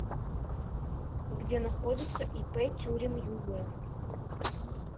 где находится ип тюрин юв